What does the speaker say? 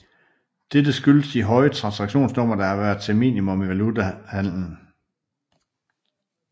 Dette skyldes de høje transaktionssummer der har været minimum i valutahandlen